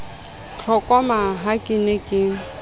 tlokoma ha ke ne ke